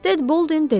Ted Bolden dedi.